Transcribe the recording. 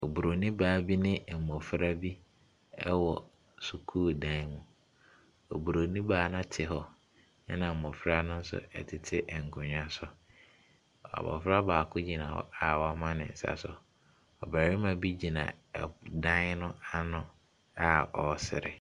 Oburoni baa bi ne mmɔfra bi wɔ sukuu da mu. Oburoni baa no te hɔ, ɛnna mmɔfra no tete nkonnwa so. Abɔfra baako gyina hɔ a wama ne nsa so. Ɔbarima bi gyina dan no ano a ɔresere.